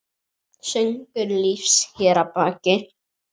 Söngur lífs hér að baki.